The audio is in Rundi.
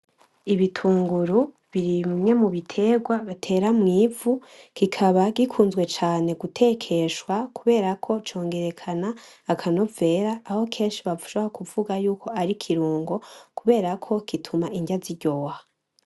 Ibitunguru biri mu bimwe mu bitegwa batera mw'ivu kikaba gikunzwe cane gutekeshwa kuberako congerekana akanovera aho benshi bashobora kuvuga yuko ari i kirungo kuberako gituma indya ziryoha.